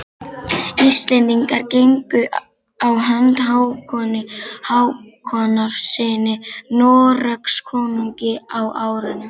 Íslendingar gengu á hönd Hákoni Hákonarsyni Noregskonungi á árunum